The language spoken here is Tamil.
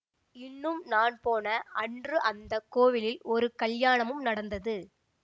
இன்னும் நான் போன அன்று அந்த கோவிலில் ஒரு கல்யாணமும் நடந்தது